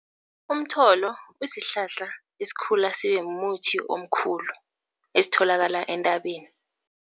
Umtholo usihlahla esikhula sibe muthi omkhulu esitholakala entabeni.